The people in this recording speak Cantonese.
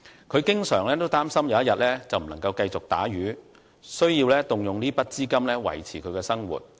他經常擔心有一天不能繼續打魚，需要動用這筆資金維持生活。